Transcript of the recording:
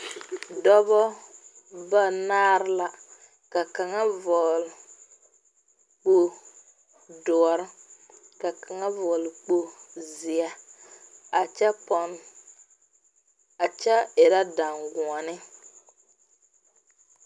Dɔbɔ ba naare la ka kaŋa vɔgle kpogre doɔre ka kaŋa vɔgle kpogre zee a kyɛ erɛ daŋguoni.